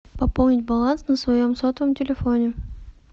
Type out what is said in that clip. пополнить баланс на своем сотовом телефоне